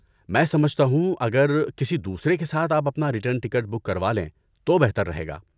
میں سمجھتا ہوں اگر کسی دوسرے کے ساتھ آپ اپنا ریٹرن ٹکٹ بک کروالیں تو بہتر رہے گا۔